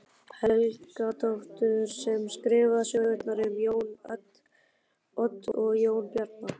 Helgadóttur sem skrifaði sögurnar um Jón Odd og Jón Bjarna.